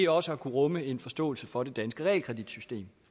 også har kunnet rumme en forståelse for det danske realkreditsystem